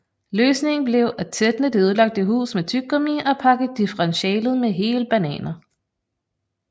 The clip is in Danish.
Løsningen blev at tætne det ødelagte hus med tyggegummi og pakke differentialet med hele bananer